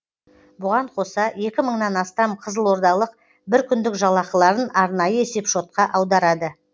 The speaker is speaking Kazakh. бұған қоса екі мыңнан астам қызылордалық бір күндік жалақыларын арнайы есепшотқа аударады